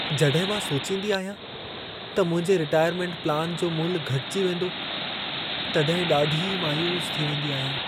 जॾहिं मां सोचींदी आहियां त मुंहिंजे रिटायरमेंट प्लान जो मुल्ह घटिजी वेंदो, तॾहिं ॾाढी मायूस थी वेंदी आहियां।